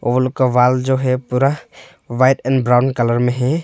Hall का wall जो है पूरा व्हाइट एंड ब्राउन कलर में है।